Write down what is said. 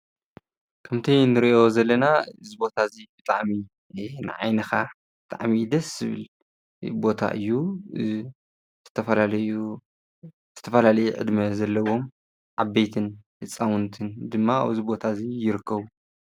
ከምቲ ንሪኦ ዘለና እዚ ቦታ እዚ ብጣዕሚ ንዓይንኻ ብጣዕሚ ደስ ዝብል ቦታ እዩ ፤ ዝተፈላለዩ ዕድመ ዘለዎም ዓበይትን ህፃውንትን ድማ ኣብኡ ኣብዚ ቦታ እዚ ይርከቡ።